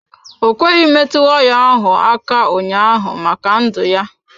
Ọ kweghị metụ waya ahụ aka ụnyaahụ maka ndụ ya.